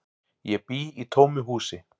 Ég bý í tómu húsi.